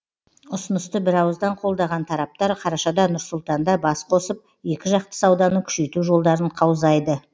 ұсынысты бірауыздан қолдаған тараптар қарашада нұр сұлтанда басқосып екіжақты сауданы күшейту жолдарын қаузайды